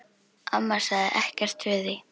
Amma sagði ekkert við því.